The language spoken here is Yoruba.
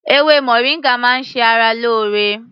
Ewé moringa máa ń ṣe ara lóore